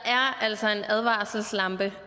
altså en advarselslampe